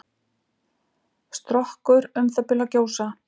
Strokkur um það bil að gjósa.